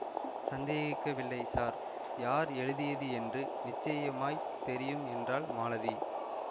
சந்தேகிக்கவில்லை sir யார் எழுதியது என்று நிச்சயமாய் தெரியும் என்றாள் மாலதி